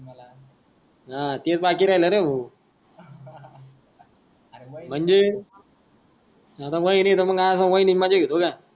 हा तेच बाकी राहिले ना भाऊ अरे म्हणजे का